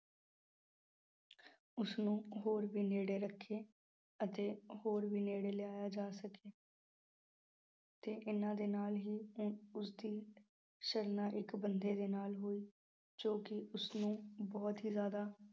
ਉਸਨੂੰ ਹੋਰ ਵੀ ਨੇੜੇ ਰੱਖੇ ਅਤੇ ਹੋਰ ਵੀ ਨੇੜੇ ਲਿਆਇਆ ਜਾ ਸਕੇ ਤੇ ਇਹਨਾਂ ਦੇ ਨਾਲ ਹੀ ਅਮ ਉਸਦੀ ਇੱਕ ਬੰਦੇ ਦੇ ਨਾਲ ਹੋਈ ਜੋ ਕਿ ਉਸਨੂੰ ਬਹੁਤ ਹੀ ਜ਼ਿਆਦਾ